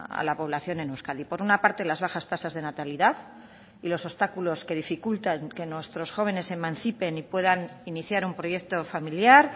a la población en euskadi por una parte las bajas tasas de natalidad y los obstáculos que dificultan que nuestros jóvenes se emancipen y puedan iniciar un proyecto familiar